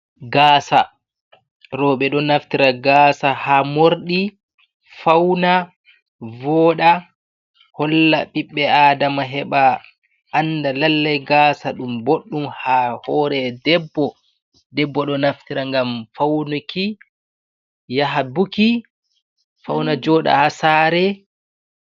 Gaasa, rowɓe ɗo naftira gaasa haa morɗi, fauna, voɗa holla ɓiɓɓe adama heɓa anda lallai gaasa ɗum boɗɗum haa hore debbo. Debbo ɗo naftira ngam faunuki yaha buki, fauna joɗa haa saare.